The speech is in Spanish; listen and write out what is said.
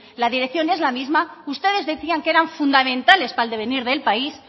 la dirección es la misma ustedes decían que eran fundamentales para el devenir del país